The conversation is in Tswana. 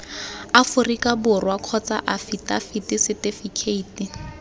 aforika borwa kgotsa afitafiti setifikeiti